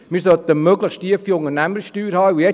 Wir sollten eine möglichst tiefe Unternehmenssteuer haben.